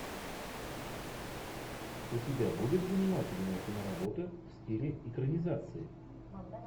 у тебя будет занимательная киноработа в стиле экранизации